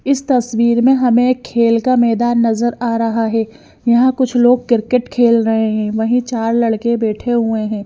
इस तस्वीर में हमें एक खेल का मैदान नजर आ रहा है यहां कुछ लोग क्रिकेट खेल रहे हैं वहीं चार लड़के बैठे हुए हैं।